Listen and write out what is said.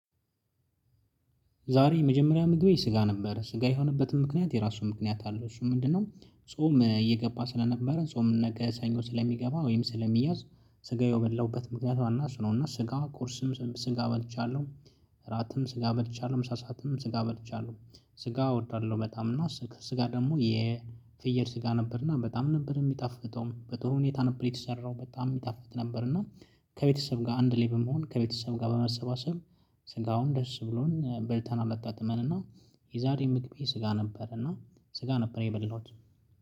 ዛሬ የመጀመሪያ ምግቤ ስጋ ነበር ስጋ የሆነበትም ምክንያት የራሱ ምክንያት አለው እሱ ምንድነው? ጾም እየገባ ስለነበረ ጾም ነገ ሰኞ ስለሚገባ ወይም ስለሚያዝ ስጋው የበላሁበት ምክንያት ዋና እሱ ነው። እና ስጋ ቁርስም ስጋ በልቻለሁ እራትም ስጋ በልቻለሁ ምሳ ሰዓትም ስጋ በልቻለሁ። ስጋ እወዳለሁ በጣም እና ስጋ ደግሞ የፍየል ስጋ ነበርና በጣም ነበር የሚጣፍጠውም በጥሩ ሁኔታ ነበር የተሰራው በጣም ይጣፍጥ ነበር። እና ከቤተሰብ ጋር አንድ ላይ መሆን ከቤተሰብ ጋር በመሰባሰብ ስጋውን ደስ ብሎን በልተን አመጣጥመን እና። የዛሬም ምግቤ ስጋ ነበር። እና ስጋ ነበር የበላሁት